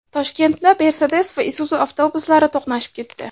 Toshkentda Mercedes va Isuzu avtobuslari to‘qnashib ketdi.